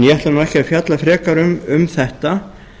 ég ætla ekki að fjalla frekar um þetta